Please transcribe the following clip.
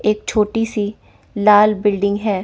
एक छोटी सी लाल बिल्डिंग है।